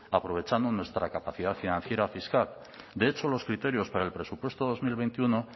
aprovechando nuestra capacidad financiera fiscal de hecho los criterios para el presupuesto dos mil veintiuno